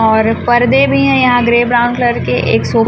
और पर्दे भी हैं यहां ग्रे ब्राउन कलर के एक सो--